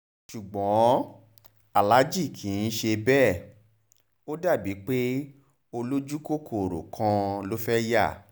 ṣùgbọ́n aláàjì kì í ṣe bẹ́ẹ̀ ó dà bíi pé olójúkòkòrò kan ló fẹ́ẹ́ yá